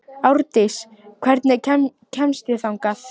Árdís, hvernig kemst ég þangað?